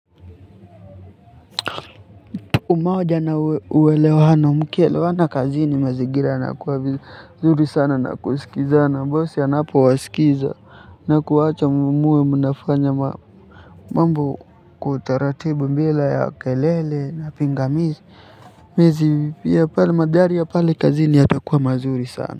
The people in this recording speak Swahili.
Umoja na uelewano mkielewana kazini mazingira yanakuwa vizuri sana kusilizana bosi anapowasikiza. Na kuwaacha muwe mnafanya mambo kwa utaratibu bila ya kelele na pingamizi pia mandhari ya pale kazini yatakuwa mazuri sana.